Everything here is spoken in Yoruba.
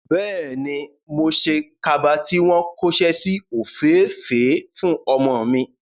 Bẹ́ẹ̀ni, mo ṣe kaba tí wọ́n kóṣẹ́ si òféèfèé fún ọmọ mi.